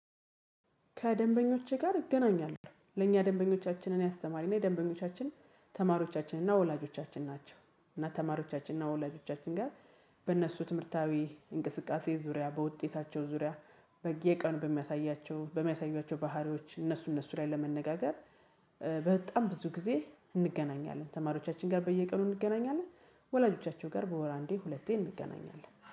ከደንበኞቼ ጋር እገናኛለሁ። ለእኛ ደንበኞቻችን እኔ አስተማሪ ናኝ ደንበኞቻችን ተማሪዎቻችን እና ወላጆቻችን ናቸው። እና ተማሪዎቻችን እና ወላጆቻችን ጋር በእነሱ ትምህርታዊ እንቅስቃሴ ዙሪያ በውጤታቸው ዙሪያ። በየቀኑ በሚያሳያቸው በሚያሳያቸው ባህሪዎች እነሱ እነሱ ላይ ለመነጋገር በጠም ብዙ ጊዜ እንገናኛለን። ተማሪዎቻችን ጋር በየቀኑ እንገናኛለን። ወላጆቻቸው ጋር በወር አንዴ ሁለቴ እንገናኛለን